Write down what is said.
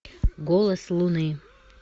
голос луны